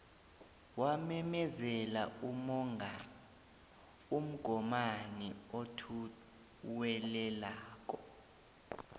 wamemezela umgomani othuwelelako